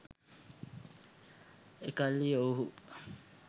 එකල්හි ඔවුුහු